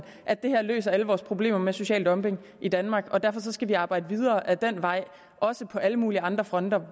at det her løser alle vores problemer med social dumping i danmark og derfor skal vi arbejde videre ad den vej også på alle mulige andre fronter